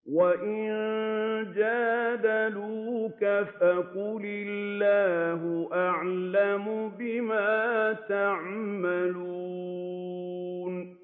وَإِن جَادَلُوكَ فَقُلِ اللَّهُ أَعْلَمُ بِمَا تَعْمَلُونَ